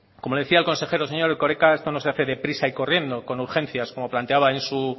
como le decía el consejero señor erkoreka esto no se hace de prisa y corriendo con urgencias como planteaba en su